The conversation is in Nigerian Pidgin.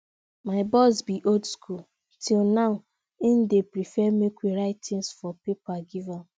my boss be old school till now im dey prefer make we write things for paper give am